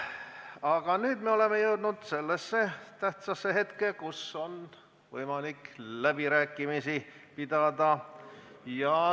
Aga nüüd me oleme jõudnud sellesse tähtsasse hetke, kus on võimalik läbirääkimisi pidada.